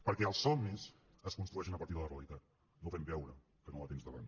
perquè els somnis es construeixen a partir de la realitat no fent veure que no la tens davant